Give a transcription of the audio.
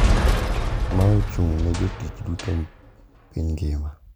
Ma ochung` ne jotich duto piny ngima.